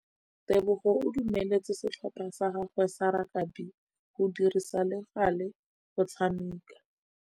Tebogô o dumeletse setlhopha sa gagwe sa rakabi go dirisa le galê go tshameka.